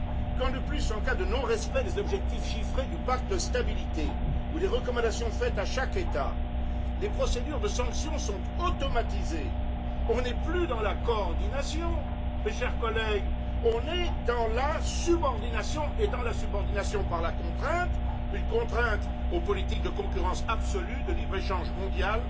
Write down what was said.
Quand, de plus, en cas de non respect des objectifs chiffrés du pacte de stabilité ou des recommandations faites à chaque État, les procédures de sanction sont automatisées, on n'est plus dans la coordination, mes chers collègues, on est dans la subordination, et dans la subordination par la contrainte aux politiques de concurrence absolue, de libre échange mondial,